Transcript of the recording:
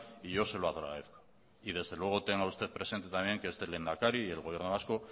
y yo se lo agradezco y desde luego tenga usted presente también que este lehendakari y el gobierno vasco